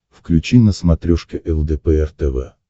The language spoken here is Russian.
включи на смотрешке лдпр тв